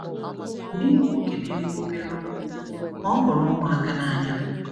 Di m bụ nwoke na-ekwu obere okwu, ma ọ hụrụ ụmụaka n’anya.